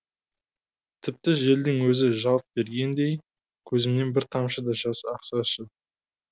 тіпті желдің өзі жалт бергендей көзімнен бір тамшы да жас ақсашы